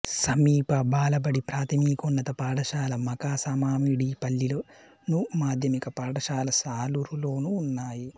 సమీప బాలబడి ప్రాథమికోన్నత పాఠశాల మఖాసమామిడిపల్లిలోను మాధ్యమిక పాఠశాల సాలూరులోనూ ఉన్నాయి